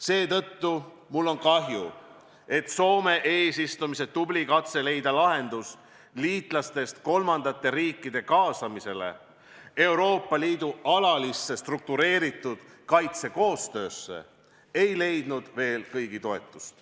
Seetõttu on mul kahju, et Soome eesistumise ajal tehtud tubli katse leida lahendus liitlastest kolmandate riikide kaasamisele Euroopa Liidu alalisse struktureeritud kaitsekoostöösse ei leidnud veel kõigi toetust.